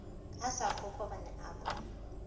a sa kokobane a mo